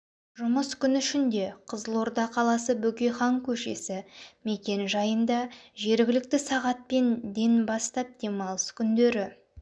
жұмыс күн ішінде қызылорда қаласы бөкейхан көшесі мекен-жайында жергілікті сағатпен ден бастап дейін демалыс күндері